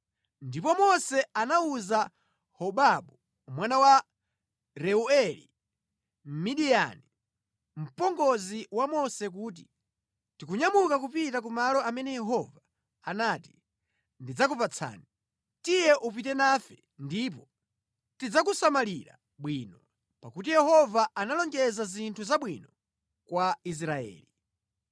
Ndipo Mose anawuza Hobabu mwana wa Reueli Mmidiyani, mpongozi wa Mose kuti, “Tikunyamuka kupita ku malo amene Yehova anati, ‘Ndidzakupatsani.’ Tiye upite nafe ndipo tidzakusamalira bwino, pakuti Yehova analonjeza zinthu zabwino kwa Israeli.”